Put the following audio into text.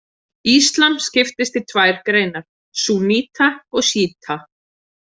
Íslam skiptist í tvær greinar, súnníta og sjíta.